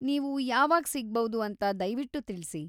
ನೀವು ಯಾವಾಗ ಸಿಗಬೌದು ಅಂತ ದಯ್ವಿಟ್ಟು ತಿಳ್ಸಿ.